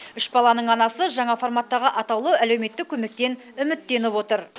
үш баланың анасы жаңа форматтағы атаулы әлеуметтік көмектен үміттеніп отыр